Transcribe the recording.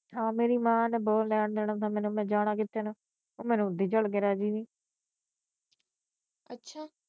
ਹਾਂ ਮੇਰੀ ਮਾਂ ਨੇ ਬਹੁਤ ਲੈਣ ਦੇਣਾ ਸਾ ਮੈਨੂੰ ਮੈ ਜਾਣਾ ਕਿਦੇ ਨਾ ਉਹ ਮੈਨੂੰ ਓਦਾਂ ਚਲ ਕੇ ਰਾਜੀ ਨਹੀਂ